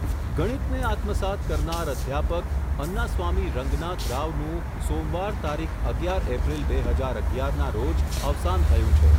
ગણિતને આત્મસાત્ કરનાર અધ્યાપક, અન્નાસ્વામી રંગનાથ રાવનું સોમવાર તારીખ અગિયાર એપ્રિલ બે હજાર અગિયાર ના રોજ અવસાન થયું છે.